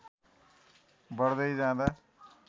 बढ्दै जाँदा